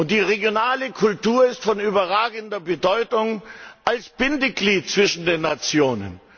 Die regionale Kultur ist von überragender Bedeutung als Bindeglied zwischen den Nationen.